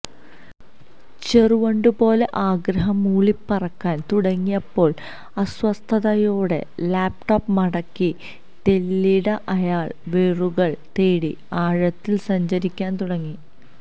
ചെറുവണ്ടുപോലെ ആഗ്രഹം മൂളിപ്പറക്കാന് തുടങ്ങിയപ്പോള് അസ്വസ്ഥതയോടെ ലാപ്ടോപ്പ് മടക്കി തെല്ലിട അയാള് വേരുകള് തേടി ആഴത്തില് സഞ്ചരിക്കാന് തുടങ്ങി